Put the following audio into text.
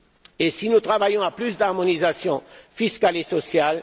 Et si nous travaillons à plus d'harmonisation fiscale et sociale.